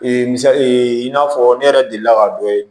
misali ee i n'a fɔ ne yɛrɛ delila ka dɔ ye